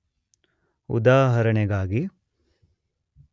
ಉದಾಹರಣೆಗಾಗಿ